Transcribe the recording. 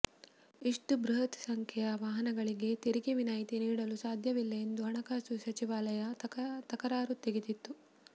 ಇಷ್ಟು ಬೃಹತ್ ಸಂಖ್ಯೆಯ ವಾಹನಗಳಿಗೆ ತೆರಿಗೆ ವಿನಾಯ್ತಿ ನೀಡಲು ಸಾದ್ಯವಿಲ್ಲ ಎಂದು ಹಣಕಾಸು ಸಚಿವಾಲಯ ತಕರಾರು ತೆಗೆದಿತ್ತು